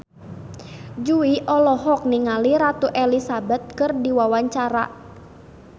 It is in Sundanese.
Jui olohok ningali Ratu Elizabeth keur diwawancara